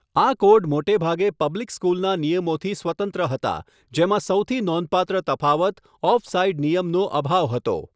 આ કોડ મોટેભાગે પબ્લિક સ્કૂલના નિયમોથી સ્વતંત્ર હતા, જેમાં સૌથી નોંધપાત્ર તફાવત ઓફસાઇડ નિયમનો અભાવ હતો.